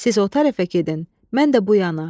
Siz o tərəfə gedin, mən də bu yana.